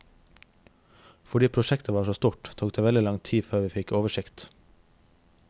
Fordi prosjektet var så stort, tok det veldig lang tid før vi fikk oversikt.